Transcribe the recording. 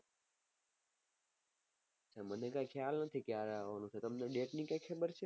મને ક્યાં ખ્યાલ નથી કયારે આવવાનું છે તમને કઈ date ની ખબર છે